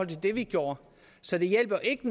det vi gjorde så det hjælper ikke